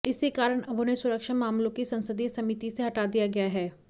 इसी कारण अब उन्हें सुरक्षा मामलों की संसदीय समिति से हटा दिया गया है